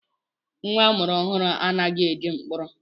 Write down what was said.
Nwa amụrụ ọhụrụ anaghị eje mkpọrọ